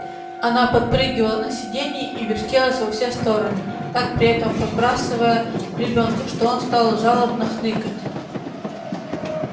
она подпрыгивала на сиденье и вертелась во все стороны так при этом подбрасывая ребёнка что он стал жалобно хныкать